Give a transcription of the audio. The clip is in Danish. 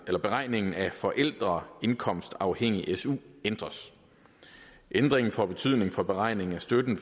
beregningen af forældreindkomstafhængig su ændres ændringen får betydning for beregningen af støtten